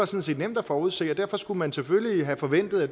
set nemt at forudse og derfor skulle man selvfølgelig have forventet at